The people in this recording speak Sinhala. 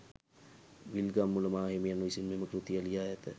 විල්ගම්මුල මාහිමියන් විසින් මෙම කෘතිය ලියා ඇත.